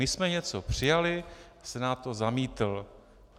My jsme něco přijali, Senát to zamítl.